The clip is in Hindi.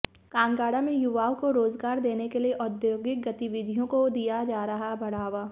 कांगड़ा में युवाओं को रोजगार देने के लिए औद्योगिक गतिविधियों को दिया जा रहा बढ़ावा